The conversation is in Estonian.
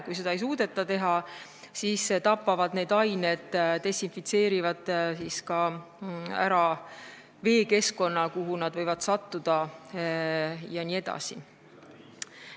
Kui seda ei suudeta, siis need ained desinfitseerivad ära ka veekeskkonna, kuhu nad võivad sattuda jne.